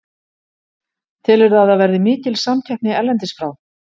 Telurðu að það verði mikil samkeppni erlendis frá?